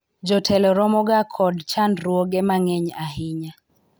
jotelo romoga kod chandruoge mang'eny ahinya